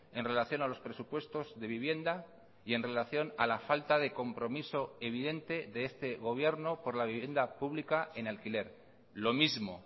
en relación a los presupuestos de vivienda y en relación a la falta de compromiso evidente de este gobierno por la vivienda pública en alquiler lo mismo